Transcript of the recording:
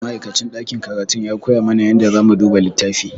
Ma'aikacin ɗakin karatun ya koya mana yadda zamu duba littafi.